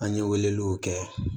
An ye weleliw kɛ